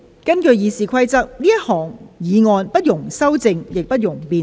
根據《議事規則》，這項議案不容修正，亦不容辯論。